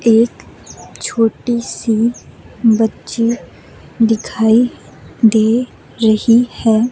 एक छोटी सी बच्ची दिखाई दे रही है।